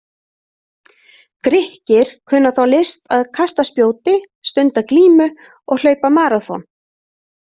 Grikkir kunna þá list að kasta spjóti, stunda glímu og hlaupa maraþon.